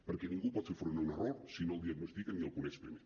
perquè ningú pot fer front a un error si no el diagnostica ni el coneix primer